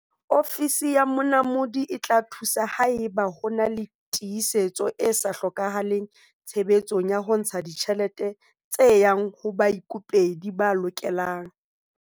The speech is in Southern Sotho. Ofisi ya Monamodi e tla thusa haeba ho na le tiehiso e sa hlokahaleng tshebetsong ya ho ntsha ditjhelete tse yang ho baikopedi ba lokelang.